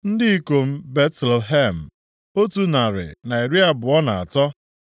Ndị ikom Betlehem, otu narị na iri abụọ na atọ (123).